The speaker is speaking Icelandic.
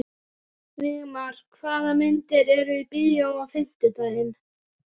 Vígmar, hvaða myndir eru í bíó á fimmtudaginn?